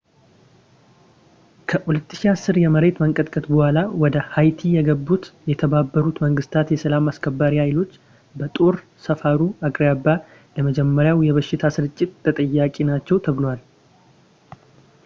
ከ 2010 የመሬት መንቀጥቀጥ በኋላ ወደ ሃይቲ የገቡት የተባበሩት መንግስታት የሰላም አስከባሪ ሃይሎች በጦር ሰፈሩ አቅራቢያ ለጀመረው የበሽታ ስርጭት ተጠያቂ ናቸው ተብሏል